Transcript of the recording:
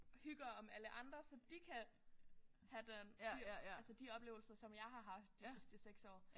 Hygger om alle andre så de kan have den de altså de oplevelser som jeg har haft de sidste 6 år